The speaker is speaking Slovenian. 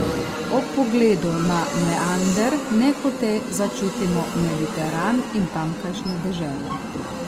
Ob pogledu na meander nehote začutimo Mediteran in tamkajšnje dežele.